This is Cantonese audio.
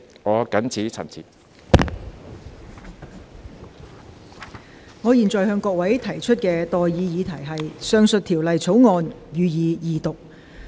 我現在向各位提出的待議議題是：《汞管制條例草案》，予以二讀。